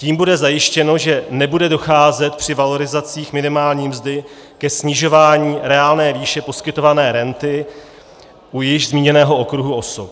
Tím bude zajištěno, že nebude docházet při valorizacích minimální mzdy ke snižování reálné výše poskytované renty u již zmíněného okruhu osob.